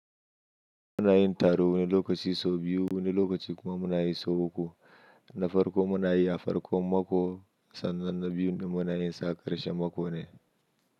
Muna yin taro wani lokaci sau biyu, wani lokaci kuma muna yi sau uku. Na farko muna yi a farkon mako sannan na biyu din muna yinsa a karshen mako ne.